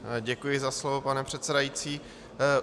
Děkuji za slovo, pane předsedající.